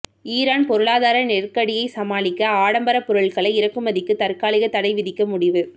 Iran பொருளாதார நெருக்கடியை சமாளிக்க ஆடம்பர பொருட்களை இறக்குமதிக்கு தற்காலிக தடை விதிக்க முடிவு